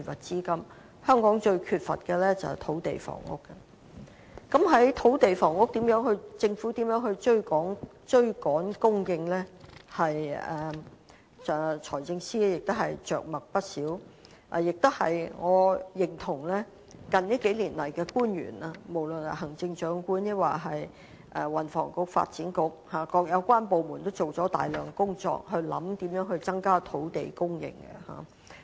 就着如何於土地和房屋方面追趕供應，財政司司長也着墨不少，我亦認同近年的官員，不論是行政長官、運輸及房屋局或發展局等各有關部門，也就此進行了大量工作，思考如何增加土地供應。